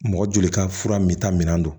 Mɔgɔ joli ka fura me taa minɛn don